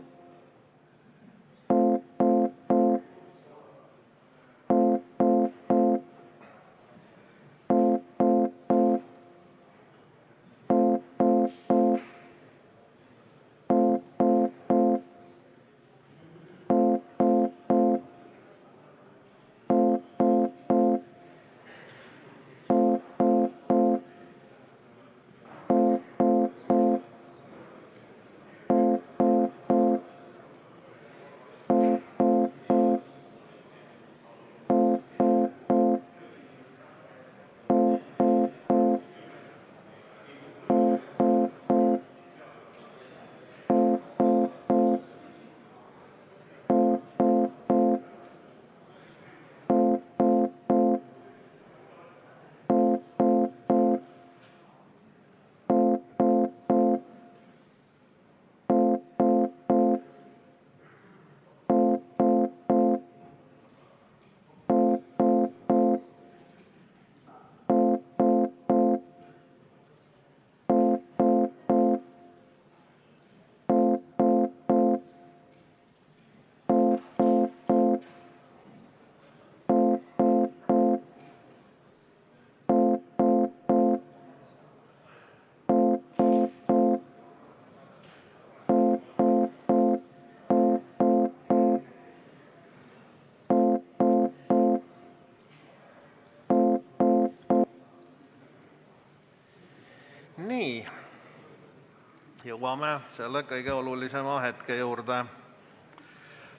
Jõuame selle kõige olulisema hetke juurde.